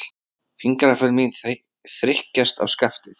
Fingraför mín þrykkjast á skaftið.